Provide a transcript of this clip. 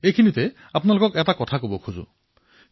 ঠিক এনে এক কথাই মই আপোনালোকৰ সৈতে বিনিময় কৰিব বিচাৰিছো